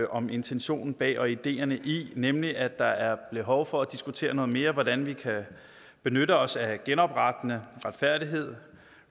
om intentionen bag og ideerne i nemlig at der er behov for at diskutere noget mere hvordan vi kan benytte os af genoprettende retfærdighed